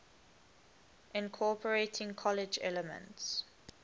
incorporating collage elements